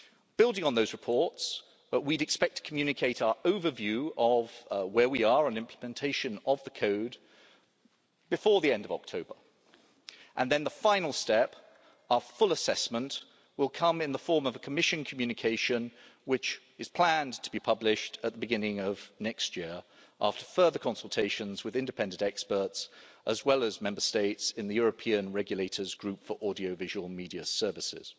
Building on those reports, we'd expect to communicate our overview of where we are on implementation of the code before the end of October. Then the final step, our full assessment, will come in the form of a Commission communication which is planned to be published at the beginning of next year after further consultations with independent experts as well as Member States in the European Regulators Group for Audiovisual Media Services.